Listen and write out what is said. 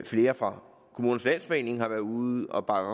flere fra kommunernes landsforening har været ude og bakke